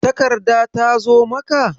Takarda ta zo maka?